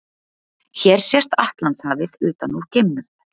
Hér sést Atlantshafið utan úr geimnum.